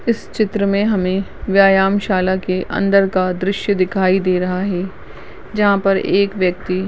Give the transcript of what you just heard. इस चित्र में हमें व्ययामशाला के अंदर का दृश्य दिखाई दे रहा है जहाँ पर एक व्यक्ति --